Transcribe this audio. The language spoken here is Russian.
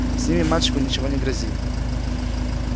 с ними мальчику ничего не грозит